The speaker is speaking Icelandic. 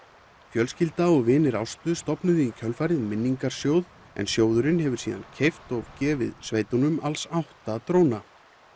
fjölskylda og vinir Ástu stofnuðu í kjölfarið minningarsjóð en sjóðurinn hefur síðan keypt og gefið sveitunum alls átta dróna